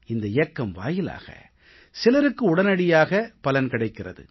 இந்த இயக்கம் வாயிலாக சிலருக்கு உடனடியாக பலன் கிடைத்திருக்கிறது